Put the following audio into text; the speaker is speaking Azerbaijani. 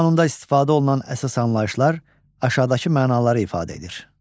Bu qanunda istifadə olunan əsas anlayışlar aşağıdakı mənaları ifadə edir.